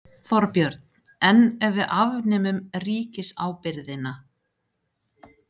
Þorbjörn: En ef við afnemum ríkisábyrgðina?